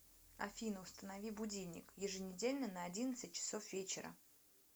афина установи будильник еженедельно на одиннадцать часов вечера